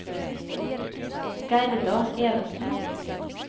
Gerda Evensen